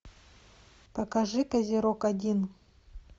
покажи козерог один